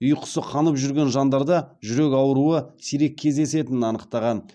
ұйқысы қанып жүрген жандарда жүрек ауруы сирек кездесетінін анықтаған